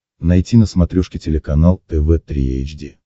найти на смотрешке телеканал тв три эйч ди